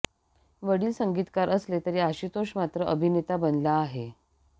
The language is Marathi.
वडील संगीतकार असले तरी आशुतोष मात्र अभिनेता बनला आहे